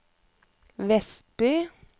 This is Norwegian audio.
Vestby